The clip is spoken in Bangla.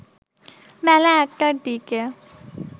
বেলা ১টার দিকে